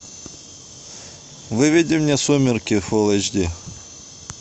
выведи мне сумерки фул эйч ди